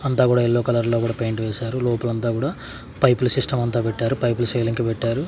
అంతా గుడా yellow colour లో గుడా పెయింట్ వేశారు లోపల అంతా గుడా పైపు ల సిస్టం అంతా పెట్టారు పైపు ల సైలెంక కి పెట్టారు.